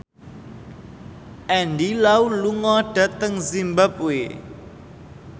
Andy Lau lunga dhateng zimbabwe